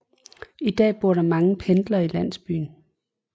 I dag bor der mange pendlere i landsbyen